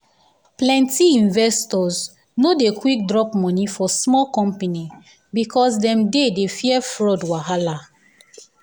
plenty investors no dey quick drop money for small company because dem dey dey fear fraud wahala.